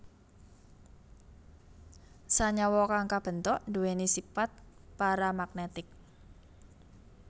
Senyawa kang kabentuk duweni sipat paramagnetik